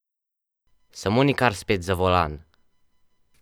Samo nikar spet za volan!